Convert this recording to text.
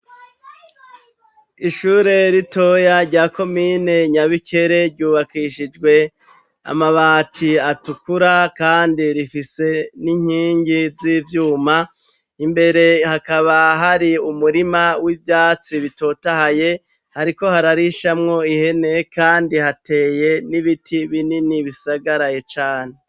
Ishure ritoya rya ko mine nyabikere ryubakishijwe amabati atukura, kandi rifise n'inkingi z'ivyuma imbere hakaba hari umurima w'ivyatsi bitotahaye hariko hararishamwo ihene, kandi hate eye n'ibiti binini bisagaraye cane.